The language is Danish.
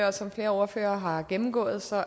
og som flere ordførere har gennemgået så